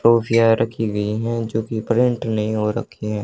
ट्रॉफियां रखी गई हैं जो की प्रिंट नहीं हो रखी हैं।